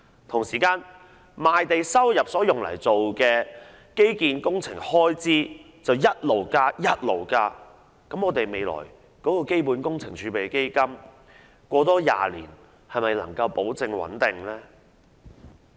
同時，把賣地收入所得用作基建工程開支的款額持續增加，我們的基本工程儲備基金在未來20年又能否保證穩定呢？